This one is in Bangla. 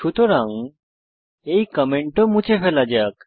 সুতরাং এই কমেন্ট ও মুছে ফেলা যাক